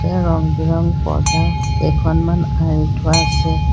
ইয়াত ৰং বিৰঙ বৰং পৰ্দাকেইখনমান আঁৰি থোৱা আছে।